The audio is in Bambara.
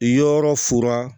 Yɔrɔ fura